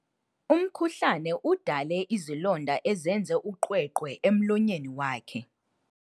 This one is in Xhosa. Umkhuhlane udale izilonda ezenze uqweqwe emlonyeni wakhe.